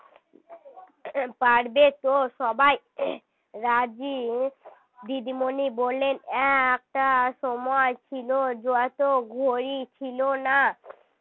পারবে তো সবাই রাজি দিদিমণি বললেন একটা সময় ছিল যত ঘড়ি ছিল না